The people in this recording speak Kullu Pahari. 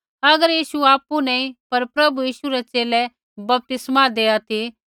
अगर यीशु आपु नैंई पर प्रभु यीशु रै च़ेले बपतिस्मा देआ ती